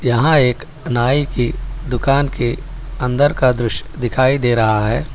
यहां एक नाई की दुकान के अंदर का दृश्य दिखाई दे रहा है।